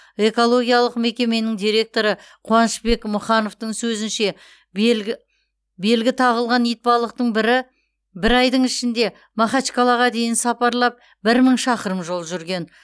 экологиялық мекеменің директоры қуанышбек мұхановтың сөзінше белгі тағылған итбалықтың бірі бір айдың ішінде макачкалаға дейін сапарлап бір мың шақырым жол жүрген